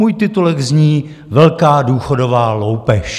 Můj titulek zní: Velká důchodová loupež.